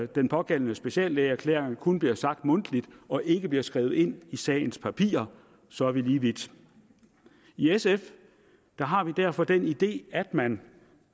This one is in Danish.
den pågældende speciallægeerklæring kun bliver sagt mundtligt og ikke bliver skrevet ind i sagens papirer og så er vi lige vidt i sf har vi derfor den idé at man